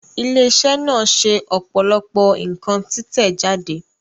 Ilé iṣẹ́ náà ṣe ọ̀pọ̀lọpọ̀ nǹkan títẹ̀ jáde